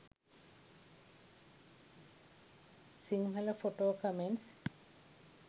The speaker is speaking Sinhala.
sinhala photo comments